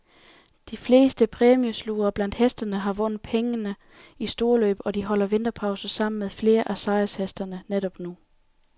De fleste præmieslugere blandt hestene har vundet pengene i storløb, og de holder vinterpause sammen med flere af sejrshestene netop nu.